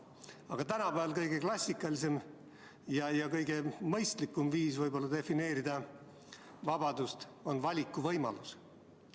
Aga tänapäeval on kõige klassikalisem ja kõige mõistlikum defineerida vabadust valikuvõimalusena.